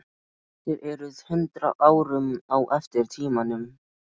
Þér eruð hundrað árum á eftir tímanum.